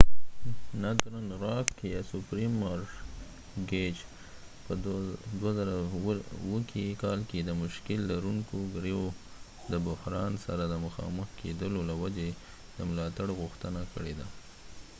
northern rock په 2007 کال کې د مشکل لرونکو ګرویو یا subprime mortgage د بحران سره د مخامخ کیدو له وجې د ملاتړ غوښتنه کړې